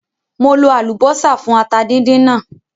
Mo lo àlùbọ́sà fún ata díndín náà